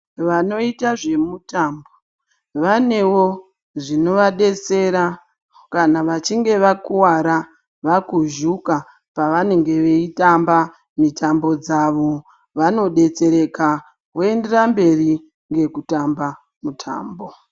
Vanoita zvemutambo vanewo zvinovadetsera kana vachinge wakuvara, vakuzvuka pavanenge veitamba mitambo dzavo, vanodetsereka voenderera mberi nekutamba mitambo.